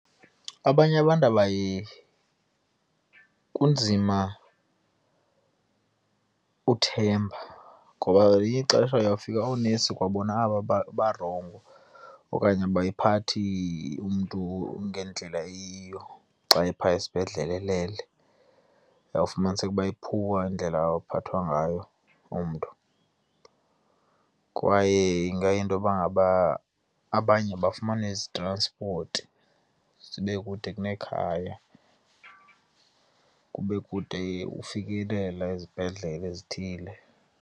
Abanye abantu kunzima uthemba ngoba ngelinye ixesha uyawufika oonesi kwabona aba babarongo okanye abayiphathi umntu ngendlela eyiyo. Xa ephaya esibhedlele elele uyawufumaniseka uba iphuwa indlela abaphatha ngayo umntu kwaye ingayinto yoba ngaba abanye abafumani zitranspoti, zibe kude kunekhaya, kube kude ukufikelela ezibhedlele ezithile.